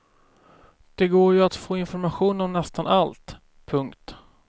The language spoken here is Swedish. Det går ju att få information om nästan allt. punkt